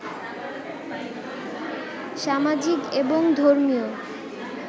সামাজিক এবং ধর্মীয়